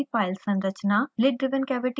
lid driven cavity हल करना